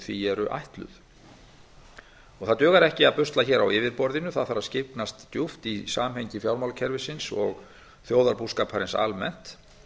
því eru ætluð og það dugar ekki að busla hér á yfirborðinu það þarf að skyggnast djúpt í samhengi fjármálakerfisins og þjóðarbúskaparins almennt